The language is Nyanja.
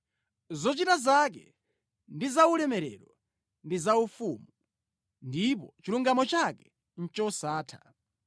Zochita zake ndi za ulemerero ndi zaufumu, ndipo chilungamo chake ndi chosatha.